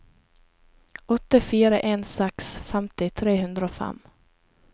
åtte fire en seks femti tre hundre og fem